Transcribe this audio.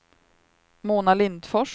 Mona Lindfors